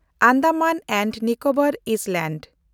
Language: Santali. Andaman and Nicobar island